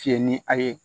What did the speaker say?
Fiyɛ ni a ye